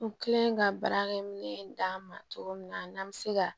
N kelen ka baarakɛminɛn d'a ma cogo min na n'an bɛ se ka